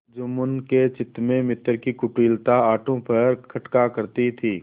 जुम्मन के चित्त में मित्र की कुटिलता आठों पहर खटका करती थी